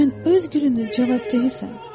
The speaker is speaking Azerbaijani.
Sən öz gülünün cavabdehisan.